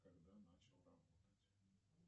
когда начал работать